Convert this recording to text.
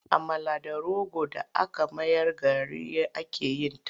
Amala da rogo d aka mayar gari ake yin ta.